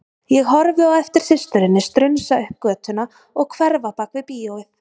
Ég horfi á eftir systurinni strunsa upp götuna og hverfa bak við bíóið.